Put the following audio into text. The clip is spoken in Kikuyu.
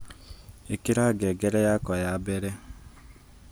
ikira ngengere yakwa ya mbere